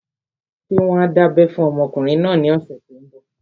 Ṣé wọ́n á dábẹ́ fún ọmọkùnrin náà ní ọ̀sẹ̀ tó n bọ̀?